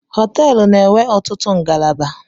Họteelụ na-enwe ọtụtụ ngalaba